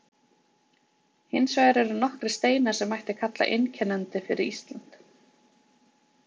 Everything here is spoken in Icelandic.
Hins vegar eru nokkrir steinar sem mætti kalla einkennandi fyrir Ísland.